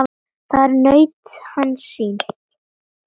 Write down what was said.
Þar naut hann sín.